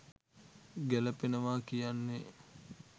ගැළපෙනවා කියන්නේ